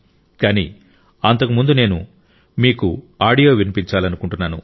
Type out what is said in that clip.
కానీ అంతకు ముందు నేను మీకు ఆడియో వినిపించాలనుకుంటున్నాను